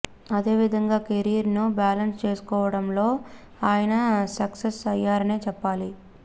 ఆవిధంగా కెరీర్ ను బ్యాలెన్స్ చేసుకోవడంలో ఆయన సక్సెస్ అయ్యారనే చెప్పాలి